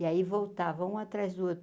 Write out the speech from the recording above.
E aí voltavam um atrás do outro.